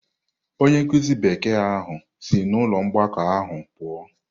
Onye nkụzi Bekee ahụ si n’ụlọ mgbakọ ahụ pụọ.